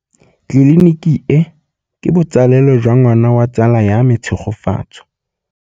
Tleliniki e, ke botsalêlô jwa ngwana wa tsala ya me Tshegofatso.